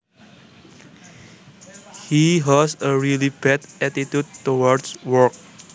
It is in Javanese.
He has a really bad attitude towards work